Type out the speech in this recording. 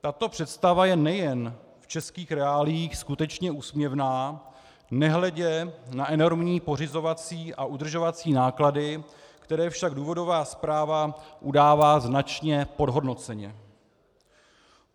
Tato představa je nejen v českých reáliích skutečně úsměvná, nehledě na enormní pořizovací a udržovací náklady, které však důvodová zpráva udává značně podhodnoceně.